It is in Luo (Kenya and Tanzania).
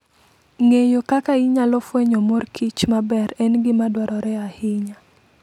Ng'eyo kaka inyalo fwenyo mor kich maber en gima dwarore ahinya.